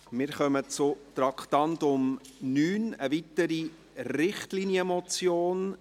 Wir kommen zum Traktandum 9, einer weiteren Richtlinienmotion.